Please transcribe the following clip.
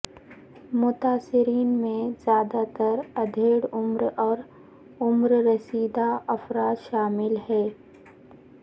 متاثرین میں زیادہ تر ادھیڑ عمر اور عمر رسیدہ افراد شامل ہیں